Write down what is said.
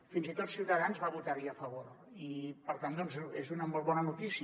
fins i tot ciutadans va votar hi a favor i per tant és una molt bona notícia